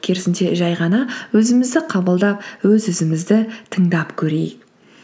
керісінше жай ғана өзімізді қабылдап өз өзімізді тыңдап көрейік